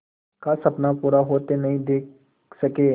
का सपना पूरा होते नहीं देख सके